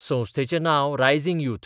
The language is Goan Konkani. संस्थेचें नांव रायजिंग युथ.